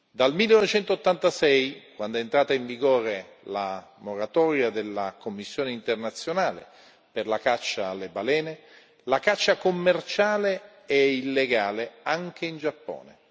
Dal 1986, quando è entrata in vigore la moratoria della commissione internazionale per la caccia alle balene, la caccia commerciale è illegale anche in Giappone.